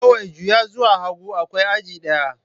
Kawai juya zuwa hagu, akwai aji ɗaya.